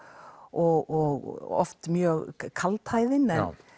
og oft mjög kaldhæðinn